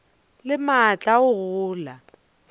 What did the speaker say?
le maatla a go gola